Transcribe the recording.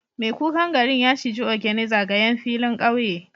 Mai kukan garin ya ciji ogene zagayen filin kauye